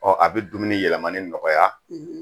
Ɔ a bɛ dumuni yɛlɛmani nɔgɔya